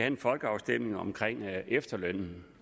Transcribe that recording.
en folkeafstemning om efterlønnen